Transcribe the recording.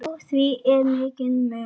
Á því er mikill munur.